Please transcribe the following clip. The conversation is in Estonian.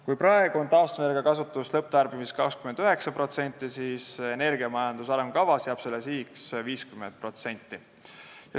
Kui praegu on taastuvenergiakasutus lõpptarbimises 29%, siis energiamajanduse arengukavas jääb sihiks 50%.